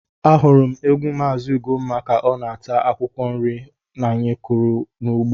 Ahụrụ m ewu Mazị Ugomma ka ọ na-ata akwụkwọ nri anyị kụrụ n’ugbo.